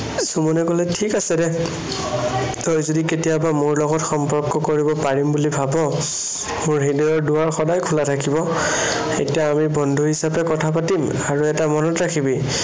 সুমনে কলে, ঠিক আছে, দে। তই যদি কেতিয়াবা মোৰ লগত সম্পৰ্ক কৰিব পাৰিম বুলি ভাব, মোৰ হৃদয়ৰ দোৱাৰ সদায় খোলা থাকিব। এতিয়া আমি বন্ধু হিচাপে কথা পাতিম। আৰু এটা মনত ৰাখিবি